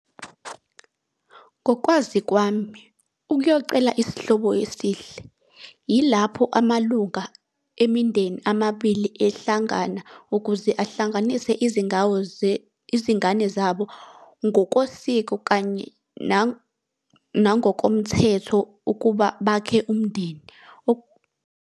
Ngokwazi kwami, ukuyocela isihlobo esihle yilapho amalunga emindeni amabili ehlangana ukuze ahlanganise izindawo izingane zabo ngokosiko kanye nangokomthetho ukuba bakhe umndeni .